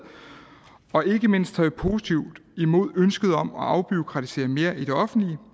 og tager ikke mindst positivt imod ønsket om at afbureaukratisere mere i det offentlige